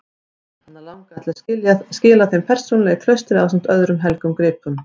Hana langaði til að skila þeim persónulega í klaustrið ásamt öðrum helgum gripum.